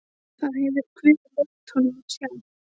Það hefur guð leyft honum að sjá.